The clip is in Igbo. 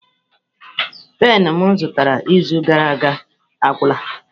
Penu m zụtara izu gara aga agwụla.